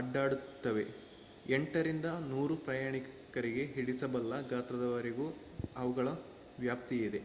ಅಡ್ಡಾಡುತ್ತವೆ - 8 ರಿಂದ 100 ಪ್ರಯಾಣಿಕರಿಗೆ ಹಿಡಿಸಬಲ್ಲ ಗಾತ್ರದವರೆಗೂ ಅವುಗಳ ವ್ಯಾಪ್ತಿಯಿದೆ